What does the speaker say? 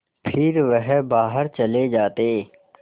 फिर वह बाहर चले जाते